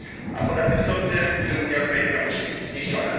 A poza tym sądzę, że Unia Europejska musi być zniszczona.